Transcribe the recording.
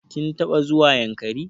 Kin taɓa zuwa Yankari?